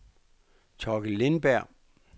Thorkild Lindberg